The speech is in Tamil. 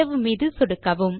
சேவ் மீது சொடுக்கவும்